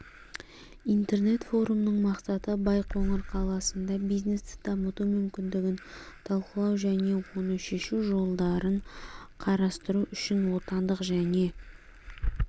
интернет-форумның мақсаты байқоңыр қаласында бизнесті дамыту мүмкіндігін талқылау және оны шешу жолдарын қарастыру үшін отандық және